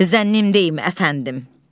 Zənnim deyil, əfəndim.